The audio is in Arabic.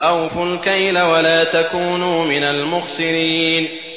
۞ أَوْفُوا الْكَيْلَ وَلَا تَكُونُوا مِنَ الْمُخْسِرِينَ